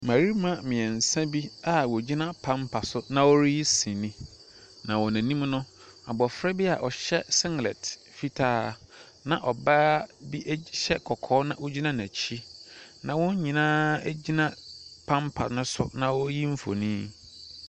Mmɛrima mmiɛnsa bi wogyina pampa so na wɔreyi sini. Na wɔn anim no, abofra bi a ɔhyɛ singlɛt fitaa, na ɔbaa bi hyɛ kɔkɔɔ, na ogyina n'akyi. Na wɔn nyinaa egyina pampa no so na woyi mfoni.